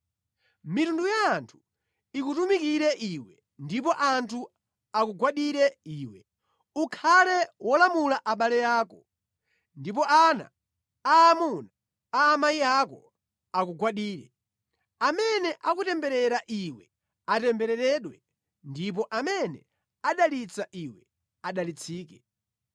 Mitundu ya anthu ikutumikire iwe ndipo anthu akugwadire iwe. Ukhale wolamula abale ako, ndipo ana aamuna a amayi ako akugwadire. Amene akutemberera iwe atembereredwe ndipo amene adalitsa iwe adalitsike.”